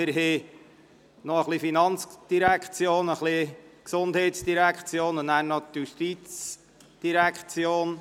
Wir behandeln noch einige Geschäfte der FIN, der GEF und anschliessend die Geschäfte der JGK.